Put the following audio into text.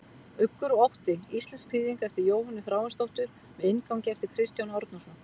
Uggur og ótti, íslensk þýðing eftir Jóhönnu Þráinsdóttur með inngangi eftir Kristján Árnason.